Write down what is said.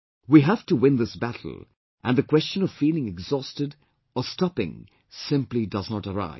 We have to win this battle and the question of feeling exhausted or stopping simply does not arise